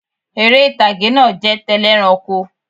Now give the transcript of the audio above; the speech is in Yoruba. Eré ìtàgé náà jẹ́ tẹlẹ́ranko